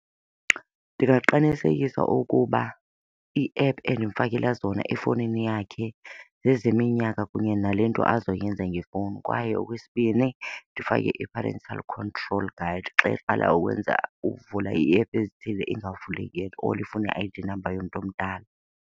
Ndingaqinisekisa ukuba i-app endimfakela zona efowunini yakhe zezeminyaka kunye nale nto azoyenza ngefowuni. Kwaye okwesibini, ndifake i-parental control guide xa eqala ukwenza, ukuvula ii-app ezithile ingavuleki at all ifune i-I_D number yomntu omdala.